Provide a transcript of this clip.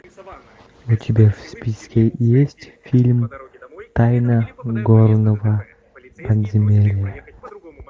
у тебя в списке есть фильм тайна горного подземелья